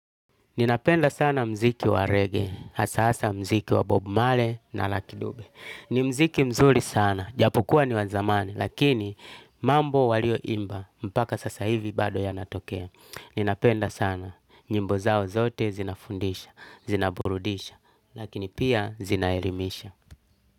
Ninapenda sana mziki wa reggae, hasa hasa mziki wa bob marley na lucky dube. Ni mziki mzuri sana, ijapokuwa ni wa zamani, lakini mambo walioimba, mpaka sasa hivi bado yanatokea. Ninapenda sana, nyimbo zao zote zinafundisha, zinaburudisha, lakini pia zinaelimisha.